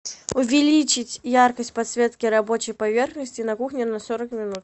увеличить яркость подсветки рабочей поверхности на кухне на сорок минут